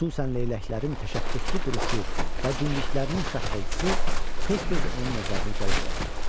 Xüsusən leyləklərin təşəxxüslü duruşu və dimdiklərinin şaqqıltısı tez-tez onun nəzərini cəlb edərdi.